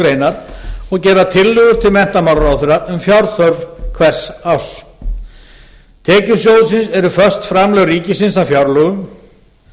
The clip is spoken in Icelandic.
grein og gera tillögur til menntamálaráðherra um fjárþörf hvers árs tekjur sjóðsins eru föst framlög ríkisins af fjárlögum